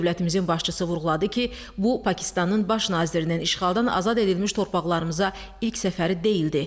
Dövlətimizin başçısı vurğuladı ki, bu Pakistanın baş nazirinin işğaldan azad edilmiş torpaqlarımıza ilk səfəri deyildi.